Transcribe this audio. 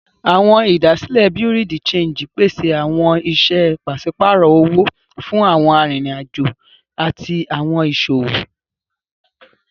Awọn idasile Bureau de change pese awọn iṣẹ paṣipaarọ owo fun awọn aririn ajo ati awọn iṣowo.